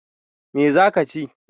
Me za ka chi?